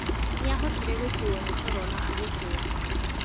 Nĩahotire gũkuo nĩ toro na agĩcũnga